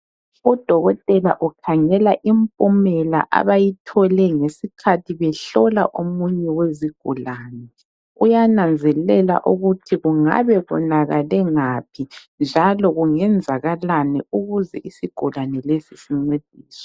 Udokotela ukhangela impumela abayithole ngesikhathi behlola omunye wezigulane. Uyananzelela ukuthi kungabe kuwonakale ngaphi njalo kungenzakalani ukuze isigulane lesi sincediswe.